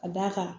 Ka d'a kan